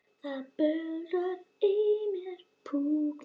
Það blundar í mér púki.